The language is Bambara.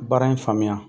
Baara in faamuya